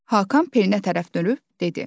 Hakan Pelinə tərəf dönüb dedi: